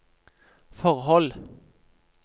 forhold